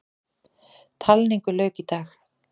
Talningu lauk í dag.